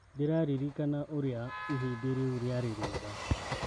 " Ndĩraririkana ũrĩa ihinda rĩu rĩarĩ rĩega.